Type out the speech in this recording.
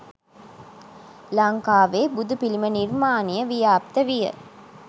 ලංකාවේ බුදුපිළිම නිර්මාණය ව්‍යාප්ත විය.